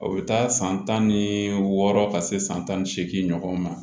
O bɛ taa san tan ni wɔɔrɔ ka se san tan ni seegin ɲɔgɔn ma